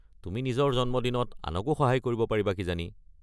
তুমি নিজৰ জন্মদিনত আনকো সহায় কৰিব পাৰিবা কিজানি।